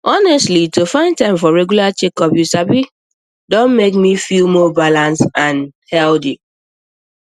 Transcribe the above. honestly to find time for regular checkups you sabi don make me feel more balanced and healthy